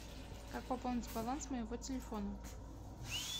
как пополнить баланс моего телефона